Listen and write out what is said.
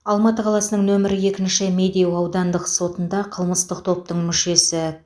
алматы қаласының нөмір екінші медеу аудындық сотында қылмыстық топтың мүшесі